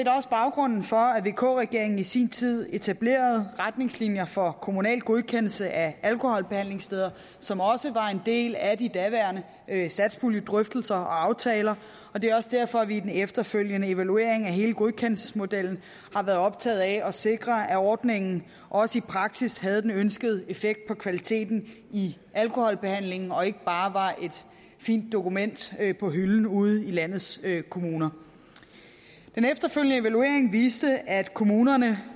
baggrunden for at vk regeringen i sin tid etablerede retningslinjer for kommunal godkendelse af alkoholbehandlingssteder som også var en del af de daværende satspuljedrøftelser og aftaler og det er også derfor at vi i den efterfølgende evaluering af hele godkendelsesmodellen har været optaget af at sikre at ordningen også i praksis havde den ønskede effekt på kvaliteten i alkoholbehandlingen og ikke bare var et fint dokument på hylden ude i landets kommuner den efterfølgende evaluering viste at kommunerne